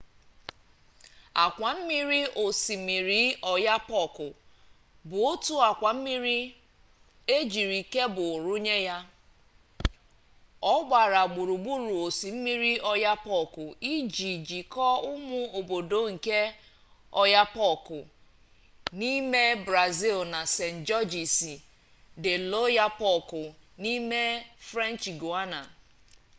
akwammiri osimiri oyapock bụ otu akwa mmiri ejiri kebul runye ya ọ gbara gburugburu osimiri oyapock iji jikọọ ụmụ obodo nke oiapoque n'ime brazịl na saint-georges de l'oyapock n'ime french guiana